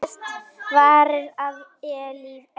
Ekkert varir að eilífu.